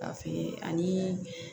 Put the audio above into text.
Ka feere ani